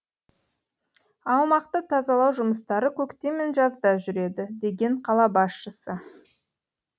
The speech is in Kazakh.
аумақты тазалау жұмыстары көктем мен жазда жүреді деген қала басшысы